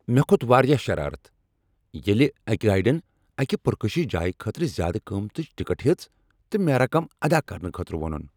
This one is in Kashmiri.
مےٚ کھوت واریاہ شرارت ییٚلہ أکۍ گائیڈن اکِہ پرکشش جایہ خٲطرٕ زیادٕ قۭمتٕچ ٹکٹ ہیژ تہٕ مےٚ رقم ادا کرنہٕ خٲطر وونُن ۔